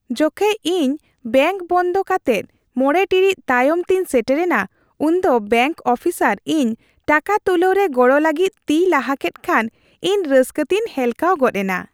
ᱡᱚᱠᱷᱮᱡ ᱤᱧ ᱵᱮᱝᱠ ᱵᱚᱱᱫ ᱠᱟᱛᱮᱜ ᱕ ᱴᱤᱲᱤᱡ ᱛᱟᱭᱚᱢ ᱛᱮᱧ ᱥᱮᱴᱮᱨᱮᱱᱟ ᱩᱱᱫᱚ ᱵᱮᱝᱠ ᱚᱯᱷᱤᱥᱟᱨ ᱤᱧ ᱴᱟᱠᱟ ᱛᱩᱞᱟᱹᱣ ᱨᱮ ᱜᱚᱲᱚ ᱞᱟᱹᱜᱤᱫ ᱛᱤᱭ ᱞᱟᱦᱟ ᱠᱮᱫ ᱠᱷᱟᱱ ᱤᱧ ᱨᱟᱹᱥᱠᱟᱹᱛᱮᱧ ᱦᱮᱞᱠᱟᱣ ᱜᱚᱫ ᱮᱱᱟ ᱾